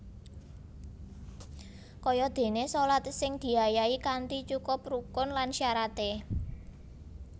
Kayadéné shalat sing diayahi kanthi cukup rukun lan syaraté